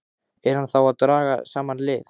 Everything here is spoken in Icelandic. Er hann þá að draga saman lið?